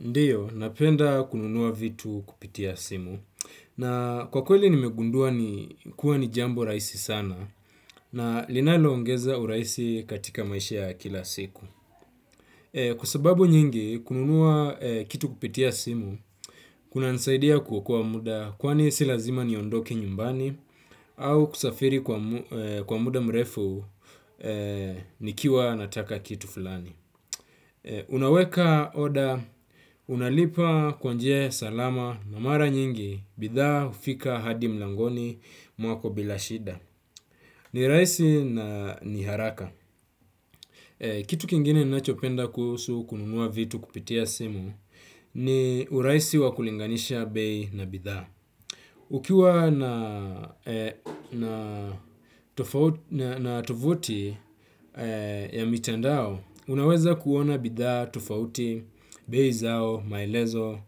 Ndio napenda kununua vitu kupitia simu. Na kwa kweli nimegundua ni kuwa ni jambo rahisi sana na linaloongeza urahisi katika maisha ya kila siku. Kwa sababu nyingi, kununua kitu kupitia simu kunaniaidia kuokua muda kwani si lazima niondoke nyumbani au kusafiri kwa muda mrefu nikiwa nataka kitu fulani. Unaweka order unalipa kwa njia ya salama na mara nyingi bidhaa hufika hadi mlangoni mwako bila shida. Ni raisi na ni haraka eh. Kitu kingine ninachopenda kuhusu kununua vitu kupitia simu ni urahisi wa kulinganisha bei na bidhaa. Ukiwa na tufuti ya mitandao, unaweza kuona bidhaa, tufauti, bei zao, maelezo